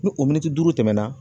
Ni o duuru tɛmɛna